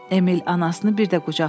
Emil anasını bir də qucaqladı.